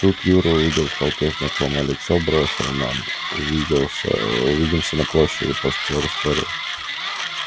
тут юра увидел в толпе знакомое лицо бросил нам увидимся на площади после чего растворился